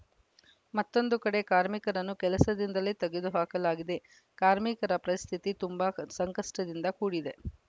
ಮತ್ತೊಂದು ಕಡೆ ಕಾರ್ಮಿಕರನ್ನು ಕೆಲಸದಿಂದಲೇ ತೆಗೆದುಹಾಕಲಾಗಿದೆ ಕಾರ್ಮಿಕರ ಪರಿಸ್ಥಿತಿ ತುಂಬಾ ಕ್ ಸಂಕಷ್ಟದಿಂದ ಕೂಡಿದೆ